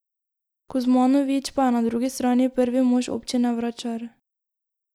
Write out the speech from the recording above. Kuzmanović pa je na drugi strani prvi mož občine Vračar.